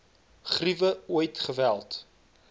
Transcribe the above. griewe ooit geweld